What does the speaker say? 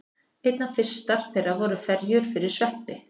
Einna fyrstar þeirra voru ferjur fyrir sveppi.